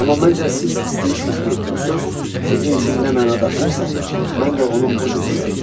Amma məncə siz istəyirsiz ki, bu söz sizin üçün nə məna daşıyırsa, mən də onu o cür işlədim.